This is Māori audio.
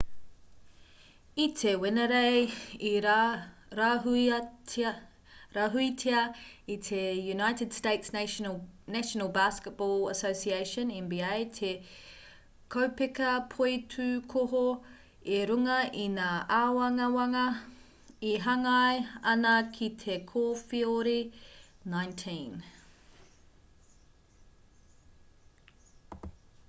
i te wenerei i rāhuitia e te united states' national basketball association nba te kaupeka poitūkohu i runga i ngā āwangawanga e hāngai ana ki te kowheori-19